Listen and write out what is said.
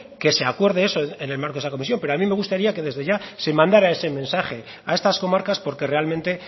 que se acuerde eso en el marco de esa comisión pero a mí me gustaría que desde ya se mandará ese mensaje a estas comarcas porque realmente